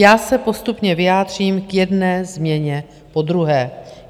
Já se postupně vyjádřím k jedné změně po druhé.